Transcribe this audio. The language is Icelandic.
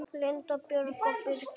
Linda Björg og Birgir Þór.